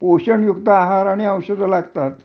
जे पोषणयुक्त आहार आणि औषध लागतात